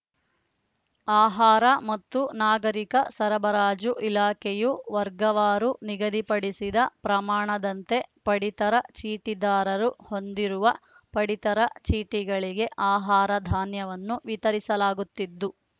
ಆಹಾರ ಮತ್ತು ನಾಗರಿಕ ಸರಬರಾಜು ಇಲಾಖೆಯು ವರ್ಗವಾರು ನಿಗದಿಪಡಿಸಿದ ಪ್ರಮಾಣದಂತೆ ಪಡಿತರ ಚೀಟಿದಾರರು ಹೊಂದಿರುವ ಪಡಿತರ ಚೀಟಿಗಳಿಗೆ ಆಹಾರಧಾನ್ಯವನ್ನು ವಿತರಿಸಲಾಗುತ್ತಿದ್ದು